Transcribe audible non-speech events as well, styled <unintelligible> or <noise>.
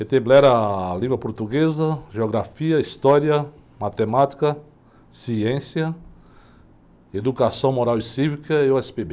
<unintelligible> língua portuguesa, geografia, história, matemática, ciência, educação moral e cívica e o. <unintelligible>